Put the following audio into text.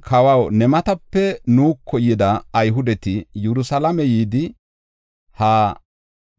“Kawaw, ne matape nuuko yida Ayhudeti Yerusalaame yidi, ha